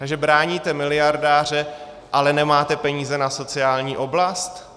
Takže bráníte miliardáře, ale nemáte peníze na sociální oblast?